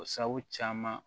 O sabu caman